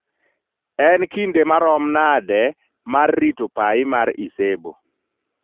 en kinde ma rom nade mar rito pai mar icebo